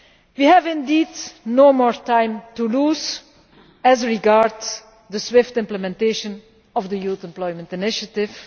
We have indeed no more time to lose as regards the swift implementation of the Youth Employment Initiative.